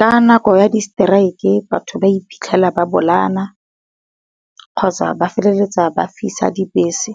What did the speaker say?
Ka nako ya di strike batho ba iphitlhela ba bolayana, kgotsa ba feleletsa ba fisa dibese.